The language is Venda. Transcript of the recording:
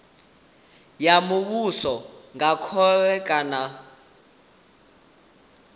ya muvhuso nga khole kana